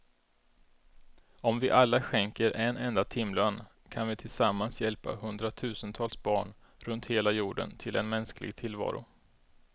Om vi alla skänker en enda timlön kan vi tillsammans hjälpa hundratusentals barn runt hela jorden till en mänsklig tillvaro.